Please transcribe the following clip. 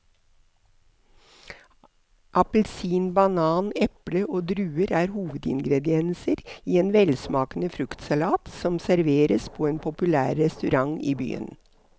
Appelsin, banan, eple og druer er hovedingredienser i en velsmakende fruktsalat som serveres på en populær restaurant i byen.